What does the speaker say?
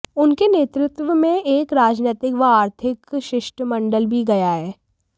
उनके नेतृत्व में एक राजनैतिक व आर्थिक शिष्टमंडल भी गया है